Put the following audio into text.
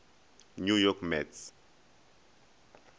new york mets